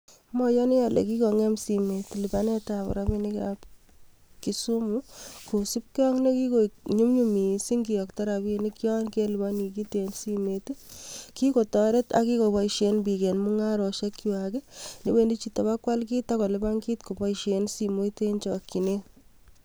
Moyoni olee kikongem simoit lipanetab rabinikab Kisumu kosipke ak nee kikoik nyumnyum mising kiyokto rabinik yon keliponi kiit en simoit, kikotoret ak kikoboishen biik en mung'aroshekwak yewendi chito kobakwal kiit ak kolipan kiit koboishen simoit en chokyinet.